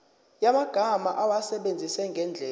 yamagama awasebenzise ngendlela